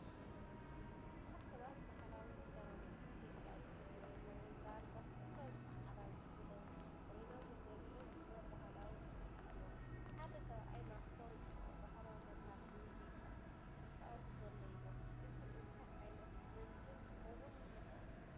ብዙሓት ሰባት ባህላዊ ክዳውንቲ ኢትዮጵያ ዝኽደኑ ኮይኖም፡ ዳርጋ ኩሎም ጻዕዳ ዝለበሱ ኮይኖም፡ ገሊኦም ድማ ባህላዊ ጥልፊ ኣለዎም። ሓደ ሰብኣይ ማሲንኮ (ባህላዊ መሳርሒ ሙዚቃ) ዝጻወት ዘሎ ይመስል። እዚ እንታይ ዓይነት ጽምብል ክኸውን ይኽእል?